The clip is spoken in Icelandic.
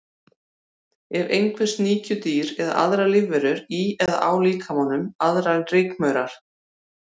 Eru einhver sníkjudýr eða aðrar lífverur í eða á líkamanum, aðrar en rykmaurar?